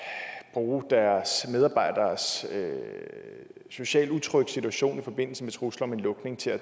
bruge deres medarbejderes socialt utrygge situation i forbindelse med trusler om en lukning til at